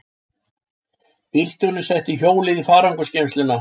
Bílstjórinn setti hjólið í farangursgeymsluna.